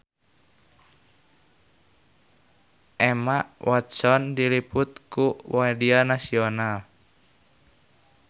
Emma Watson diliput ku media nasional